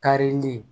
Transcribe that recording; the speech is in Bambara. Karili